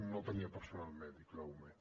no tenia personal mèdic l’ume